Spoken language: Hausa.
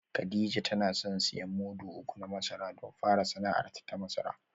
Kadija tana son siyan mudu uku na masara don fara sana’arta ta masara